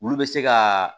Olu bɛ se ka